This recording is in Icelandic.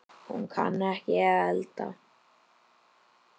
Hún kann ekki að elda.